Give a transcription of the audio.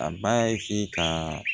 A b'a ka